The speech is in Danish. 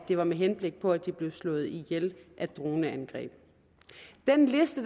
det var med henblik på at de blev slået ihjel af droneangreb den liste